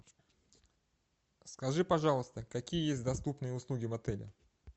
скажи пожалуйста какие есть доступные услуги в отеле